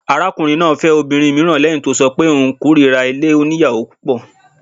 Arákùnrin náà fẹ́ obìnrin mìíràn lẹ́hìn tó ṣọ pé òun kórira ilé oníyàwò púpọ̀.